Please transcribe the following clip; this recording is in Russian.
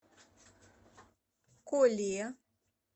коле